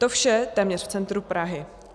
To vše téměř v centru Prahy.